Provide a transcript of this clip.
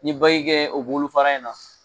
Ni kɛ o bolofara in na